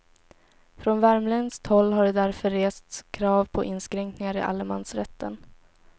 Från värmländskt håll har det därför rests krav på inskränkningar i allemansrätten.